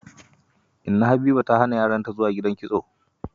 Inna Habiba ta hana yaranta zuwa gidan kitso.